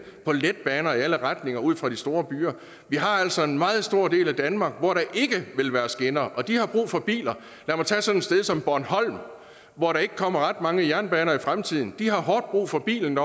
på letbaner i alle retninger ud fra de store byer vi har altså en meget stor del af danmark hvor der ikke vil være skinner og de har brug for biler lad mig tage sådan et sted som bornholm hvor der ikke kommer ret mange jernbaner i fremtiden de har hårdt brug for bilen